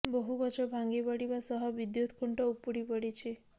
ବହୁ ଗଛ ଭାଙ୍ଗିପଡ଼ିବା ସହ ବିଦ୍ୟୁତ୍ ଖୁଣ୍ଟ ଉପୁଡ଼ି ପଡ଼ିଛି